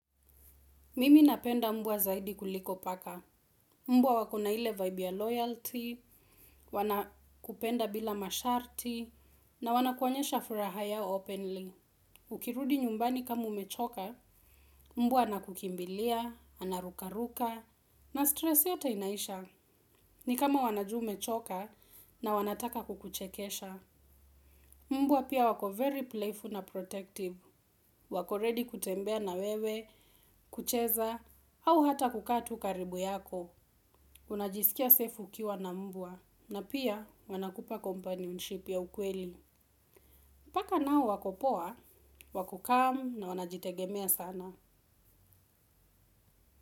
Mimi napenda mbwa zaidi kuliko paka. Mbwa wakona ile vibe ya loyalty, wana kupenda bila masharti, na wana kuwaonyesha furaha yao openly. Ukirudi nyumbani kama umechoka, mbwa anakukimbilia, anarukaruka, na stress yote inaisha. Ni kama wanajua umechoka na wanataka kukuchekesha. Mbua pia wako very playful na protective. Wako ready kutembea na wewe, kucheza, au hata kukaa tu karibu yako. Unajisikia safe ukiwa na mbwa. Na pia wanakupa companionship ya ukweli. Paka nao wako poa, wakukaa na wanajitegemea sana.